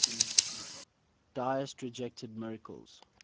deists rejected miracles